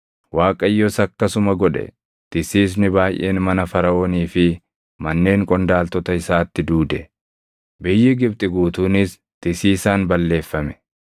Waaqayyos akkasuma godhe. Tisiisni baayʼeen mana Faraʼoonii fi manneen qondaaltota isaatti duude; biyyi Gibxi guutuunis tisiisaan balleeffame.